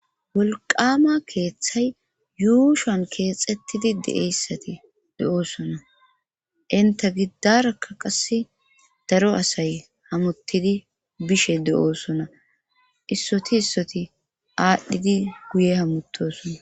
wolqama keeththay yuushoon keexettidi de7eyssati de7oosona inta giddarakka qasse daro asay hamuttidi bishe de7oosona issoti issoti aadhdhidi guye hamutosona